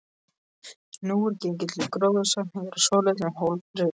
Nú er gengið til gróðursetningar á svolitlum hól fyrir utan